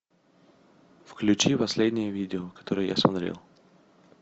включи последнее видео которое я смотрел